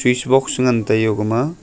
swits box ngan taiyo egama.